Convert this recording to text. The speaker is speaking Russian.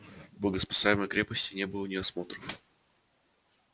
в богоспасаемой крепости не было ни осмотров